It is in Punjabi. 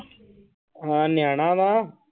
ਹਾਂ ਨਿਆਣਾ ਵਾਂ।